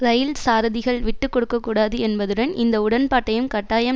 இரயில் சாரதிகள் விட்டு கொடுக்க கூடாது என்பதுடன் இந்த உடன்பாட்டையும் கட்டாயம்